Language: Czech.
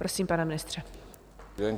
Prosím, pane ministře.